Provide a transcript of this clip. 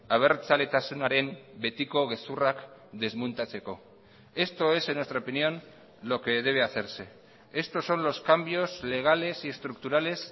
abertzaletasunaren betiko gezurrak desmontatzeko esto es en nuestra opinión lo que debe hacerse estos son los cambios legales y estructurales